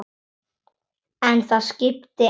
En það skipti engu máli.